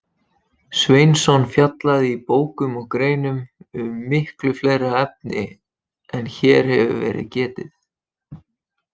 Sveinsson fjallaði í bókum og greinum um miklu fleiri efni en hér hefur verið getið.